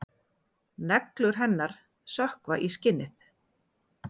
Neglur hennar sökkva í skinnið.